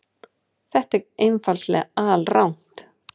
Þetta er einfaldlega alrangt.